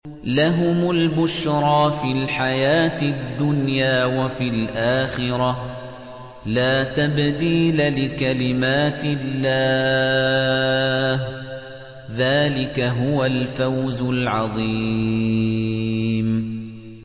لَهُمُ الْبُشْرَىٰ فِي الْحَيَاةِ الدُّنْيَا وَفِي الْآخِرَةِ ۚ لَا تَبْدِيلَ لِكَلِمَاتِ اللَّهِ ۚ ذَٰلِكَ هُوَ الْفَوْزُ الْعَظِيمُ